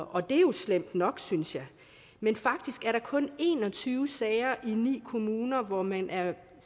og det er jo slemt nok synes jeg men faktisk er der kun en og tyve sager i ni kommuner hvor man er